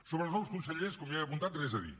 sobre els nous consellers com ja he apuntat res a dir